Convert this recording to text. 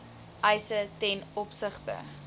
eise ten opsigte